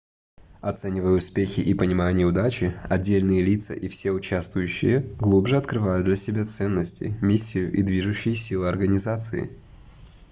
оценивая успехи и понимая неудачи отдельные лица и все участвующие глубже открывают для себя ценности миссию и движущие силы организации